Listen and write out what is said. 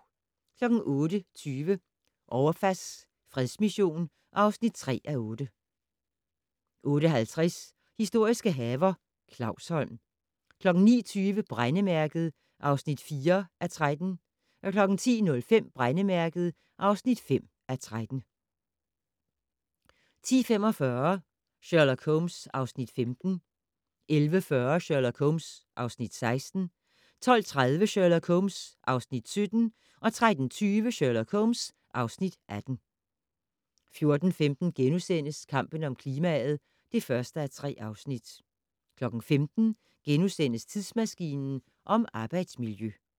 08:20: Ouafas fredsmission (3:8) 08:50: Historiske haver - Clausholm 09:20: Brændemærket (4:13) 10:05: Brændemærket (5:13) 10:45: Sherlock Holmes (Afs. 15) 11:40: Sherlock Holmes (Afs. 16) 12:30: Sherlock Holmes (Afs. 17) 13:20: Sherlock Holmes (Afs. 18) 14:15: Kampen om klimaet (1:3)* 15:00: Tidsmaskinen om arbejdsmiljø *